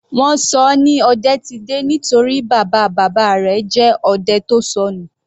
Wọ́n ṣọ ọ ní Odetide nítorí bàbá bàbá rẹ̀ jẹ́ odẹ tó sọnù.